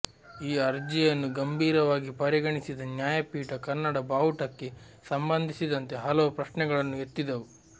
ಈ ಅರ್ಜಿಯನ್ನು ಗಂಭೀರವಾಗಿ ಪರಿಗಣಿಸಿದ ನ್ಯಾಾಯಪೀಠ ಕನ್ನಡ ಬಾವುಟಕ್ಕೆೆ ಸಂಬಂಧಿಸಿದಂತೆ ಹಲವು ಪ್ರಶ್ನೆೆಗಳನ್ನು ಎತ್ತಿಿದವು